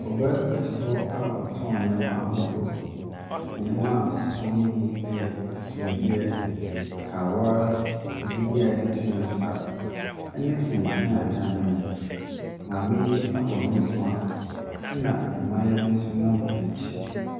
Ɔbaa bi te hɔ a ɔtɔn nneɛma ahodoɔ. Nneɛma a ɔtɔn no bi yɛ asomdeɛ, kawa, agudeɛ a yɛde to yɛn nsa ne kɛntɛn a wɔanwene. Maame yi abɔ nose mask ɛnna mmayewa bi nso nam n'akyi.